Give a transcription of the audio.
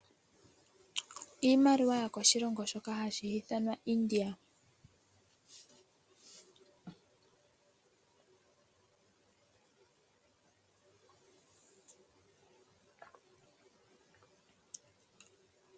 Iimaliwa yokoshilongo shoka hashi ithanwa India.